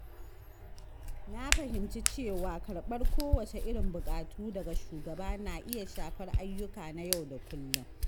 Na fahimci cewa karɓar kowacce irin buƙatu daga shugaba na iya shafar ayyuka na yau da kullum.